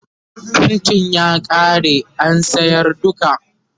faintin ya ƙare an sayar duka